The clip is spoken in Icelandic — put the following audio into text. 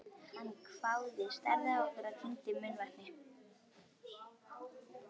Hann hváði, starði á okkur og kyngdi munnvatni.